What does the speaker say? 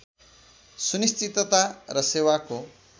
सुनिश्चितता र सेवाको